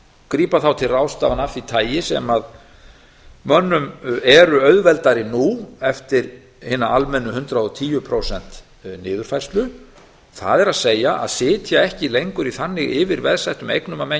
grípa til ráðstafana af því tagi sem mönnum eru auðveldari nú eftir hina almennu hundrað og tíu prósent niðurfærslu það er að sitja ekki lengur í þannig yfirveðsettum eignum að menn